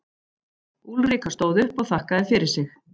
Úlrika stóð upp og þakkaði fyrir sig.